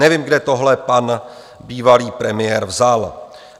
Nevím, kde tohle pan bývalý premiér vzal.